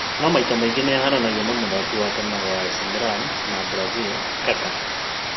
No maita maingĩ nĩahananagio na mũthaki wa tene wa AC Millan na Brazil kaka